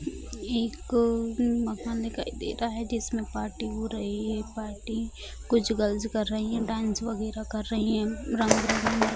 एक मकान दिखाई दे रहा है जिसमें पार्टी हो रही है कुछ गर्ल्स कर रही है डांस वगैरह कर रही है रंग बिरंगी मर्क --